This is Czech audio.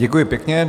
Děkuji pěkně.